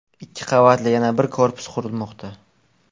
Ikki qavatli yana bir korpus qurilmoqda.